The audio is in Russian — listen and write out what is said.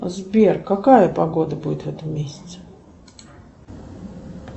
сбер какая погода будет в этом месяце